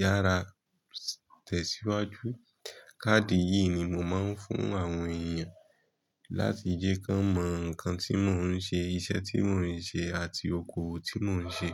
yára tẹ̀síwájú. Káàdì yìí ni mo máa ń fún àwọn èèyàn láti jẹ́ kí wọ́n mọ nǹkan tí mò ń ṣe, iṣẹ́ tí mò ń ṣe àti okòwò tí mò ń ṣe.